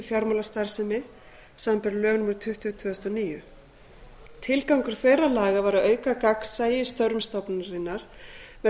fjármálastarfsemi samanber lög númer tuttugu tvö þúsund og níu tilgangur þeirra laga var að auka gagnsæi í störfum stofnunarinnar með því